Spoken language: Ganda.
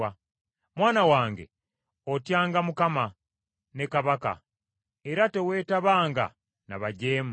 Mwana wange otyanga Mukama , ne kabaka, era teweetabanga na bajeemu.